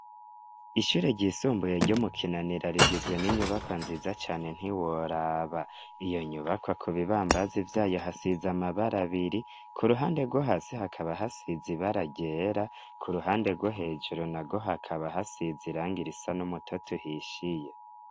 Ishyure ryisumbuye ryo mu Kinanira rigizwe n'inyubakwa nziza cane ntiworaba iyo nyubakwa ku bibambazi vyayo hasize amabara abiri, ku ruhande rwo hasi hakaba hasize ibara ryera, ku ruhande rwo hejuru narwo hakaba hasize irangi risa n'umutoto uhishiye.